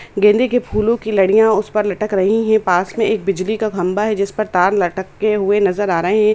गेंदे की फूलो की लारियाँ उस पर लटक रही हैं पास में एक बिजली का खम्बा है जिस पर तार लटकते हुए नजर आ रहे हैं।